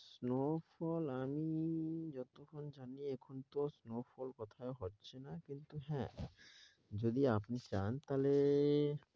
snow fall আমি যতখানি জানি এখন তো snow fall কোথাও হচ্ছেনা কিন্তু হ্যাঁ যদি আপনি চান তাহলে